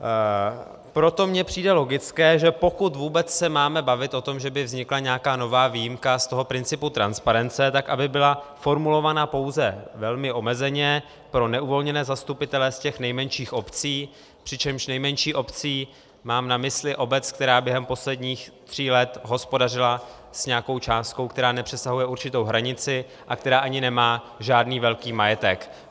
Proto mi přijde logické, že pokud vůbec se máme bavit o tom, že by vznikla nějaká nová výjimka z toho principu transparence, tak aby byla formulována pouze velmi omezeně pro neuvolněné zastupitele z těch nejmenších obcí, přičemž nejmenší obcí mám na mysli obec, která během posledních tří let hospodařila s nějakou částkou, která nepřesahuje určitou hranici a která ani nemá žádný velký majetek.